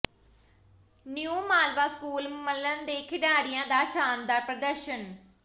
new Malwa school Mallan ਦੇ ਖਿਡਾਰੀਆਂ ਦਾ ਸ਼ਾਨਦਾਰ ਪ੍ਰਦਰਸ਼ਨ